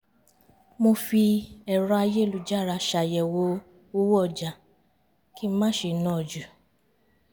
mo fi ẹ̀rọ ayélujára ṣàyẹ̀wò owó ọjà kí n má ṣe ná ju